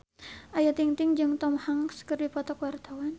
Ayu Ting-ting jeung Tom Hanks keur dipoto ku wartawan